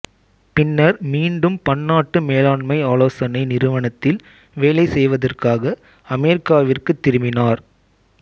பின்னர் மீண்டும் பன்னாட்டு மேலாண்மை ஆலோசனை நிறுவனத்தில் வேலை செய்வதற்காக அமெரிக்காவிற்குத் திரும்பினார்